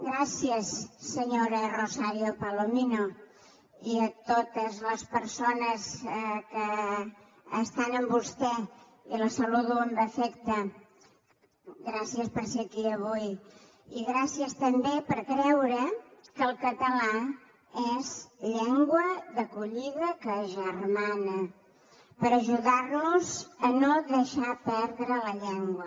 gràcies senyora rosario palomino i a totes les persones que estan amb vostè i la saludo amb afecte gràcies per ser aquí avui i gràcies també per creure que el català és llengua d’acollida que agermana per ajudar nos a no deixar perdre la llengua